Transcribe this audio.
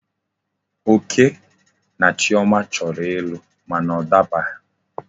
Oke na Chioma choro ilu mana o dabaghi